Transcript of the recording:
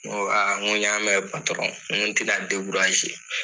N ko aa n ko n y'a mɛn patɔrɔn n ko tɛna dekuraze